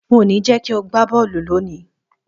N ò ní jé̩ kí o gbá bó̩ò̩lù lónìí!